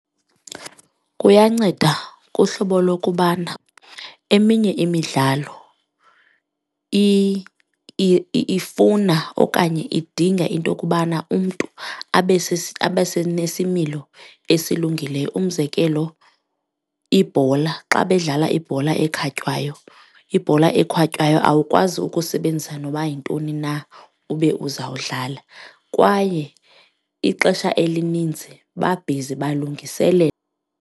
Kuyanceda kuhlobo lokubana eminye imidlalo ifuna okanye idinga into yokubana umntu abe nesimilo esilungileyo. Umzekelo ibhola, xa bedlala ibhola ekhatywayo ibhola ekhatywayo awukwazi ukusebenzisa noba yintoni na ube uzawudlala kwaye ixesha elininzi babhizi .